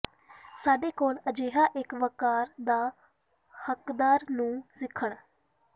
ਸਾਡੇ ਕੋਲ ਅਜਿਹਾ ਇੱਕ ਵੱਕਾਰ ਦਾ ਹੱਕਦਾਰ ਨੂੰ ਸਿੱਖਣ